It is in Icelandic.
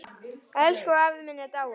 Elsku afi minn er dáinn.